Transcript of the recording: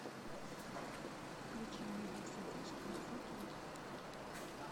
включи мне во все тяжкие фо кей